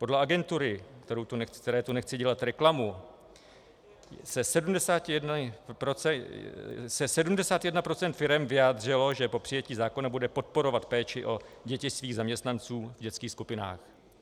Podle agentury, které tu nechci dělat reklamu, se 71 % firem vyjádřilo, že po přijetí zákona bude podporovat péči o děti svých zaměstnanců v dětských skupinách.